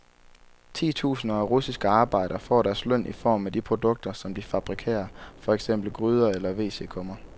Titusinder af russiske arbejdere får deres løn i form af de produkter, som de fabrikerer, for eksempel gryder eller wc-kummer.